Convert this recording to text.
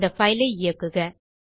இந்த பைல் ஐ இயக்குக